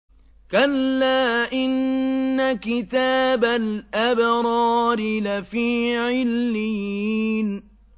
كَلَّا إِنَّ كِتَابَ الْأَبْرَارِ لَفِي عِلِّيِّينَ